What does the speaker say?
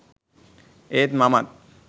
ඒත් මමත්